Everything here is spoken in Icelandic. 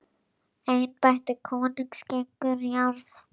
Embætti konungs gengur í arf.